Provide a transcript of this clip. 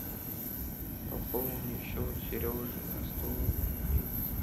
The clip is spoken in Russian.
пополни счет сережи на сто рублей